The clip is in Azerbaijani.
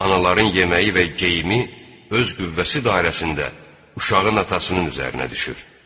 Anaların yeməyi və geyimi öz qüvvəsi dairəsində uşağın atasının üzərinə düşür.